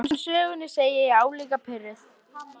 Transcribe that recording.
Konan í sögunni, segi ég álíka pirruð.